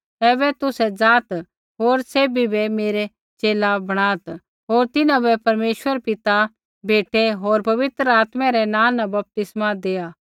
ऐबै तुसै ज़ाआत् होर सैभी ज़ाति बै मेरा च़ेला बणात् होर तिन्हां बै परमेश्वर पिता बेटै होर पवित्र आत्मै रै नाँ न बपतिस्मा दैआत्